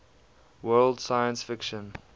world science fiction